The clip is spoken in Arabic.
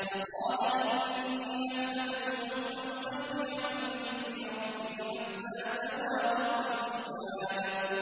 فَقَالَ إِنِّي أَحْبَبْتُ حُبَّ الْخَيْرِ عَن ذِكْرِ رَبِّي حَتَّىٰ تَوَارَتْ بِالْحِجَابِ